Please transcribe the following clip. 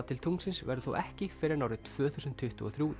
til tunglsins verður þó ekki fyrr en árið tvö þúsund tuttugu og þrjú